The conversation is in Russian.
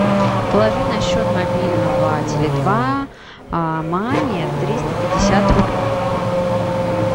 положи на счет мобильного теле два маме триста пятьдесят рублей